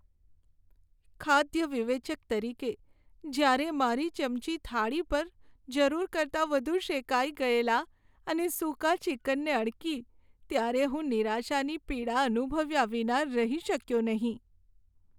ખાદ્ય વિવેચક તરીકે, જ્યારે મારી ચમચી થાળી પર જરૂર કરતાં વધુ શેકાઈ ગયેલા અને સૂકા ચિકનને અડકી ત્યારે હું નિરાશાની પીડા અનુભવ્યા વિના રહી શક્યો નહીં.